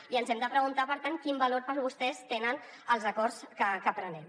i ens hem de preguntar per tant quin valor per a vostès tenen els acords que prenem